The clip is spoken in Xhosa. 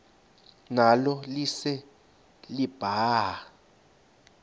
nalo lise libaha